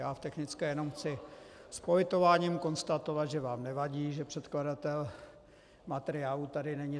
Já v technické jenom chci s politováním konstatovat, že vám nevadí, že předkladatel materiálu tady není.